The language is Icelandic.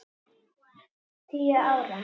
Tíu ára.